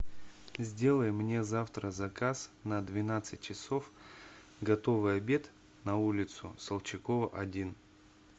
сделай мне завтра заказ на двенадцать часов готовый обед на улицу солчакова один